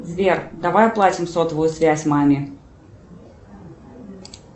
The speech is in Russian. сбер давай оплатим сотовую связь маме